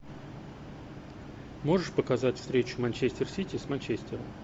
можешь показать встречу манчестер сити с манчестером